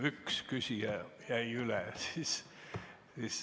Üks küsija jäi üle.